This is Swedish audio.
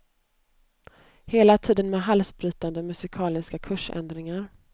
Hela tiden med halsbrytande musikaliska kursändringar.